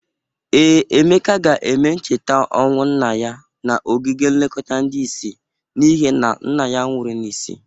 Ee, Emeka ga-eme ncheta ọnwụ nna ya n'ogige nlekọta ndị isi n'ihe na nna ya nwụrụ n'isi.